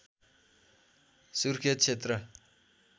सुर्खेत क्षेत्र